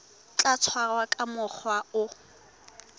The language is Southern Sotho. tla tshwarwa ka mokgwa o